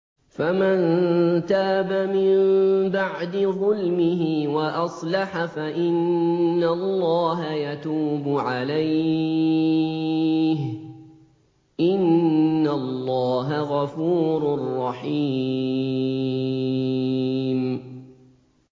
فَمَن تَابَ مِن بَعْدِ ظُلْمِهِ وَأَصْلَحَ فَإِنَّ اللَّهَ يَتُوبُ عَلَيْهِ ۗ إِنَّ اللَّهَ غَفُورٌ رَّحِيمٌ